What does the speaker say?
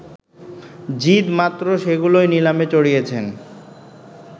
জিদ মাত্র সেগুলোই নিলামে চড়িয়েছেন